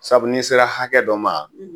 Sabu n'i sera hakɛ dɔ ma